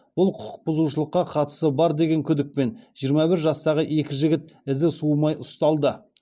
бұл құқықбұзушылыққа қатысы бар деген күдікпен жиырма бір жастағы екі жігіт ізі суымай ұсталды